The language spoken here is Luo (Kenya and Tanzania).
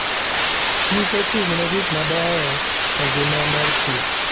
kich ochung'ne gik mabeyoe e ngima morkich.